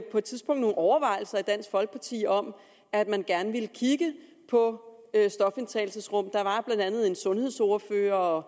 på et tidspunkt nogle overvejelser i dansk folkeparti om at man gerne ville kigge på stofindtagelsesrum der var blandt andet en sundhedsordfører og